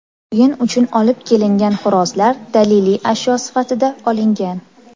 O‘yin uchun olib kelingan xo‘rozlar daliliy ashyo sifatida olingan.